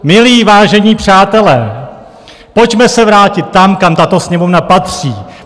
Milí vážení přátelé, pojďme se vrátit tam, kam tato Sněmovna patří.